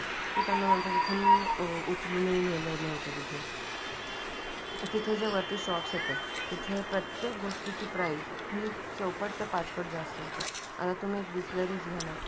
ते त्यांना नंतर तिथून उचलून हि नेल नव्हतं तिथून ते त्याच्या वरती शॉप्स तिथे प्रत्येक गोष्टीची प्राईज हे चौपट ते पाचपट जास्त होते. आता तुम्ही बिसलेरी घ्या ना